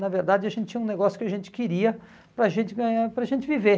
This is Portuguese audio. Na verdade, a gente tinha um negócio que a gente queria para a gente ganhar para a gente viver.